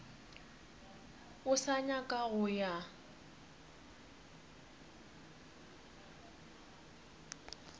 o sa nyaka go ya